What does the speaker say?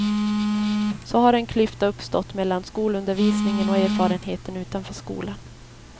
Så har en klyfta uppstått mellan skolundervisningen och erfarenheten utanför skolan.